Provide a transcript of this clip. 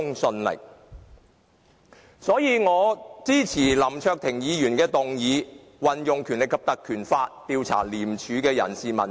所以，我支持林卓廷議員的議案，運用《條例》調查廉署的人事問題。